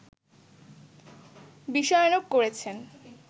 বিষয়ানুগ করেছেন